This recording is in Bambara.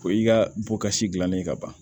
Ko i ka bɔ ka si gilannen ka ban